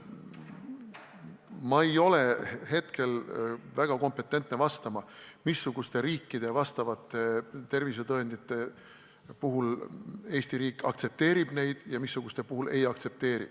Ma ei ole hetkel väga kompetentne vastama, missuguste riikide vastavaid tervisetõendeid Eesti riik aktsepteerib ja missuguste omi ei aktsepteeri.